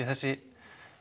þessi